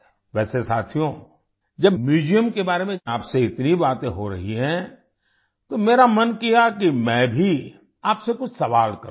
वैसे साथियो जब म्यूजियम के बारे में आपसे इतनी बातें हो रही हैं तो मेरा मन किया कि मैं भी आपसे कुछ सवाल करूं